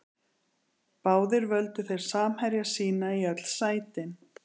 Báðir völdu þeir samherja sína í öll sætin.